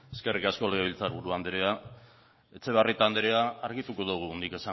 eskerrik asko legebiltzar buru andrea etxebarrieta andrea argituko dugu nik